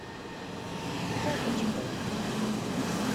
опочкой